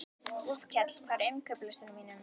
Úlfkell, hvað er á innkaupalistanum mínum?